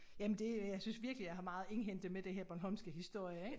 Jamen det øh jeg synes virkelig jeg har meget at indhente med det her bornholmske historie ik